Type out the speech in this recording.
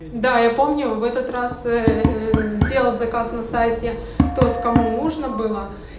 да я помню в этот раз сделал заказ на сайте тот кому нужно было